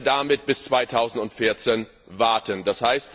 Oder wollen wir damit bis 2014 warten,